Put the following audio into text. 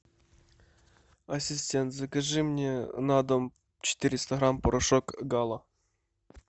ассистент закажи мне на дом четыреста грамм порошок гала